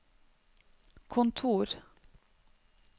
kontor